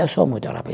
Eu sou muito rápido